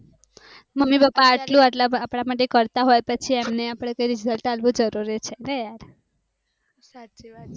mummy પાપા એટલું અપડા માટે કરતા હોઈ પછી અપડે એના માટે result અલ્વું જરૂરી છે